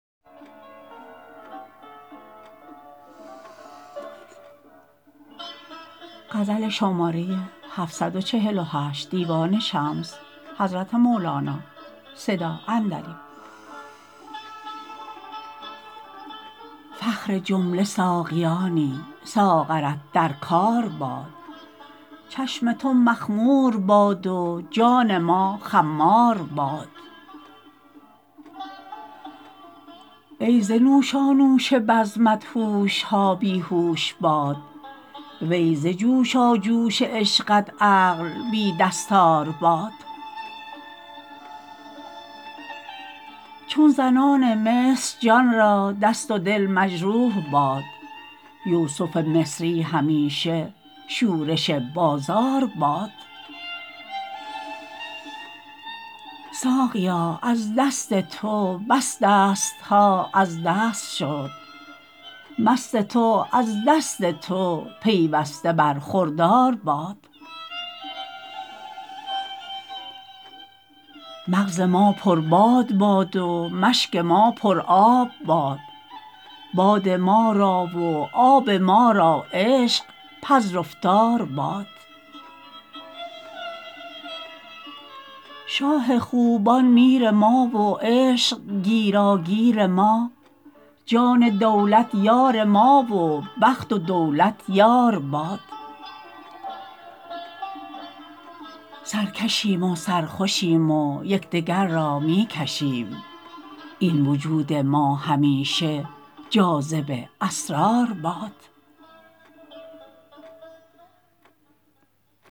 فخر جمله ساقیانی ساغرت در کار باد چشم تو مخمور باد و جان ما خمار باد ای ز نوشانوش بزمت هوش ها بی هوش باد وی ز جوشاجوش عشقت عقل بی دستار باد چون زنان مصر جان را دست و دل مجروح باد یوسف مصری همیشه شورش بازار باد ساقیا از دست تو بس دست ها از دست شد مست تو از دست تو پیوسته برخوردار باد مغز ما پرباد باد و مشک ما پرآب باد باد ما را و آب ما را عشق پذرفتار باد شاه خوبان میر ما و عشق گیراگیر ما جان دولت یار ما و بخت و دولت یار باد سرکشیم و سرخوشیم و یک دگر را می کشیم این وجود ما همیشه جاذب اسرار باد